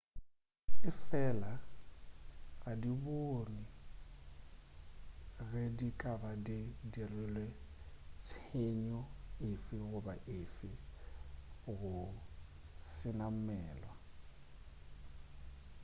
efela ga di bonwe ge di ka ba di dirile tshenyo efe goba efe go senamwelwa